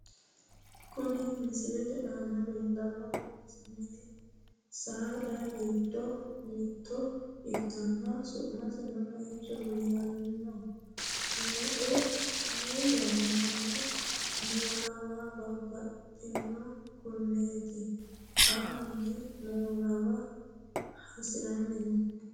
Kuni misilete aana leellannohu mini saada giddo mitto ikkinohu su'masino meichoho yinaniho. meu ayee yannarano moolawa baxannona kuneeti xanni moolawa hasiranni no.